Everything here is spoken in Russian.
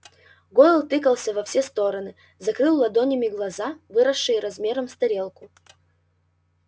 гойл тыкался во все стороны закрыл ладонями глаза выросшие размером с тарелку